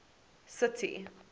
city